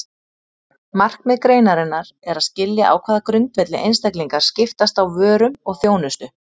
Markmið greinarinnar er að skilja á hvaða grundvelli einstaklingar skiptast á vörum og þjónustu.